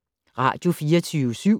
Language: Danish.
Radio24syv